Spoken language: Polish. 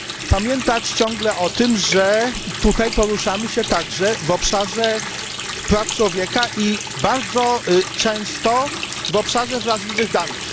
pamiętać ciągle o tym, że tutaj poruszamy się także w obszarze praw człowieka i bardzo często w obszarze wrażliwych danych.